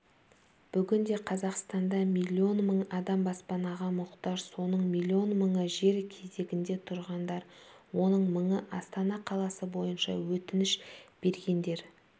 бүгінде қазақстанда млн мың адам баспанаға мұқтаж соның млн мыңы жер кезегінде тұрғандар оның мыңы астана қаласы бойынша өтініш бергендер